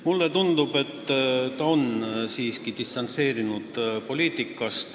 Mulle tundub, et ta on siiski poliitikast distantseerunud.